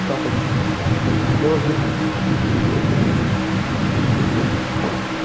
капать дождик